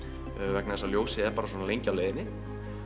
vegna þess að ljósið er bara svona lengi á leiðinni